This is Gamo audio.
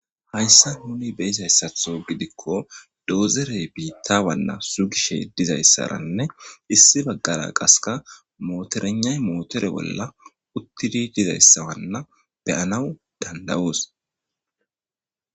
Haysan nuni bey'izaysato gidiko dozerey bitawana sugishe dizaysaranne issi bagara qaseka motoreygnay motere bola utidi dizaysawanna be'anaw danda'os.